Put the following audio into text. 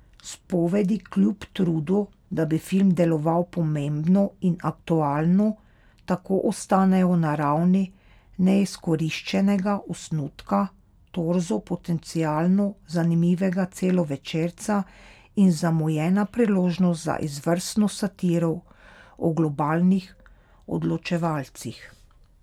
Spovedi kljub trudu, da bi film deloval pomembno in aktualno, tako ostanejo na ravni neizkoriščenega osnutka, torzo potencialno zanimivega celovečerca in zamujena priložnost za izvrstno satiro o globalnih odločevalcih.